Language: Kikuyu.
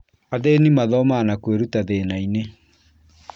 Athĩni mathomaga na kwĩruta thĩnainĩ